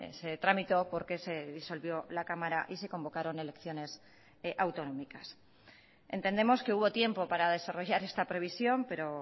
se tramitó porque se disolvió la cámara y se convocaron elecciones autonómicas entendemos que hubo tiempo para desarrollar esta previsión pero